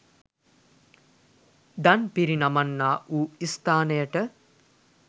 දන් පිරිනමන්නා වූ ස්ථානයට